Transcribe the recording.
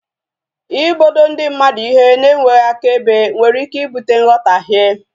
Ịbodo ndi mmadụ ihe na enweghị akaebe nwere ike ibute nghotahie